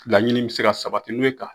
Laɲini be se ka sabati n'i be ka